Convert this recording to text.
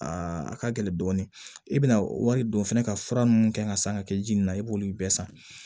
a ka gɛlɛn dɔɔnin i bɛna wari don fɛnɛ ka fura minnu kɛ ka san ka kɛ ji nin na i b'olu bɛɛ san